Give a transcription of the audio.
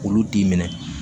Olu t'i minɛ